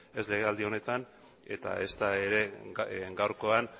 ez legealdi honetan eta ezta ere gaurkoan